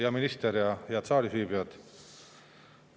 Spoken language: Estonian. Hea minister ja head saalis viibijad!